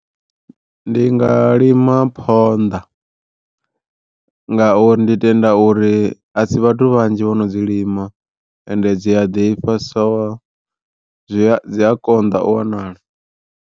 Ndi nga lima phonḓa ngauri ndi tenda uri asi vhathu vhanzhi vhono dzi lima, ende dzi a ḓifha so zwi dzi a konḓa u wanala.